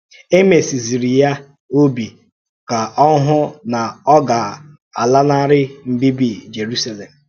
È mèsìzìrì ya òbì ka ọ hụ́ na ọ gà-àlánárí mbíbí Jerúsálèm. um